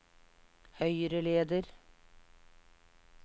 høyreleder